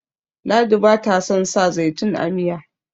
ladi ba ta son sa zaitun a Miya